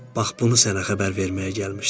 Bax bunu sənə xəbər verməyə gəlmişdim.